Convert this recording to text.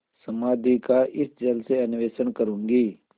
समाधि का इस जल से अन्वेषण करूँगी